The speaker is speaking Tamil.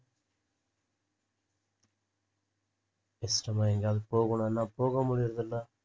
இஸ்டமா எங்கயாவது போகணுன்னா போக முடியுறதில்ல